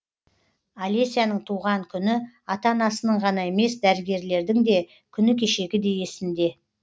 алесяның туған күні ата анасының ғана емес дәрігерлердің де күні кешегідей есінде